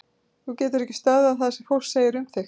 Þú getur ekki stöðvað það sem fólk segir um þig.